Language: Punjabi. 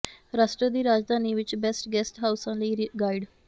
ਰਾਸ਼ਟਰ ਦੀ ਰਾਜਧਾਨੀ ਵਿਚ ਬੈਸਟ ਗੈਸਟ ਹਾਉਸਾਂ ਲਈ ਗਾਈਡ